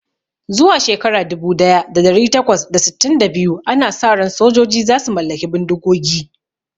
Zuwa shekara dubu daya da dari takwas da sittin da biyu, ana sa ran sojoji za su mallaki bindigogi